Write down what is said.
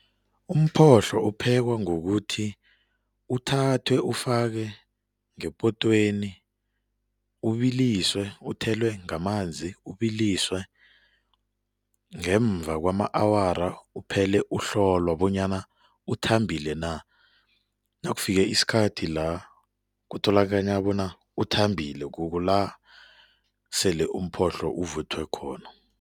Umphohlo uphekwa ngokuthi uthathwe ufake ngepotweni, ubilisiwe, uthelwe ngamanzi ubilisiwe ngemva kwama-awara uphele uhlolwa bonyana uthambile na. Nakufike isikhathi la kutholakala bona uthambile kukula sele umphohlo uvuthwe khona.